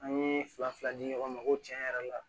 An ye fila fila di ɲɔgɔn ma ko tiɲɛ yɛrɛ la